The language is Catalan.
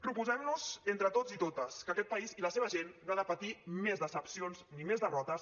proposem nos entre tots i totes que aquest país i la seva gent no ha de patir més decepcions ni més derrotes